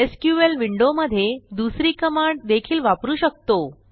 SQL विंडोमधे दुसरी command देखील वापरू शकतो